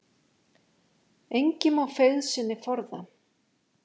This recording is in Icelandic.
Engi má feigð sinni forða.